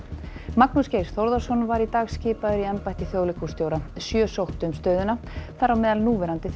Magnús Geir Þórðarson var í dag skipaður í embætti þjóðleikhússtjóra sjö sóttu um stöðuna þar á meðal núverandi